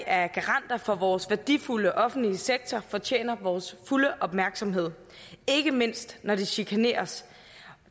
er garanter for vores værdifulde offentlige sektor fortjener vores fulde opmærksomhed ikke mindst når de chikaneres